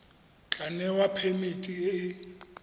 tla newa phemiti e e